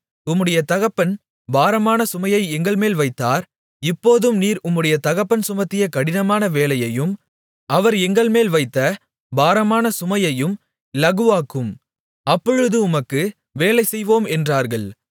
உம்முடைய தகப்பன் பாரமான சுமையை எங்கள்மேல் வைத்தார் இப்போதும் நீர் உம்முடைய தகப்பன் சுமத்திய கடினமான வேலையையும் அவர் எங்கள்மேல் வைத்த பாரமான சுமையையும் இலகுவாக்கும் அப்பொழுது உமக்கு வேலை செய்வோம் என்றார்கள்